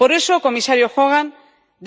Por eso, comisario Hogan,